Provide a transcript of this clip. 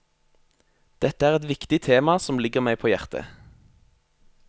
Dette er et viktig tema som ligger meg på hjertet.